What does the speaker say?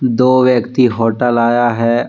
दो व्यक्ति होटल आया है।